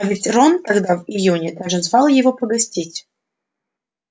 а ведь рон тогда в июне даже звал его погостить